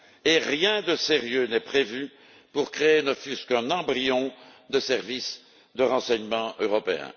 et rien de sérieux n'est prévu pour créer ne fût ce qu'un embryon de service de renseignement européen.